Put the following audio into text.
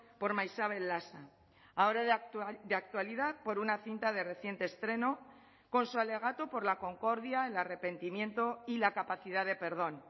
por maixabel lasa ahora de actualidad por una cinta de reciente estreno con su alegato por la concordia el arrepentimiento y la capacidad de perdón